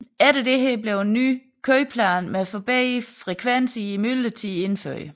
Efter dette blev en ny køreplan med forbedrede frekvenser i myldretiderne indført